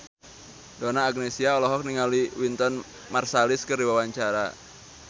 Donna Agnesia olohok ningali Wynton Marsalis keur diwawancara